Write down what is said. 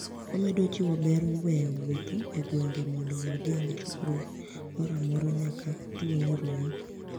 Omedo jiwo ber weyo wuoth egwenige monido wagenig chokruok moro amora niyaka tuo nii rumi.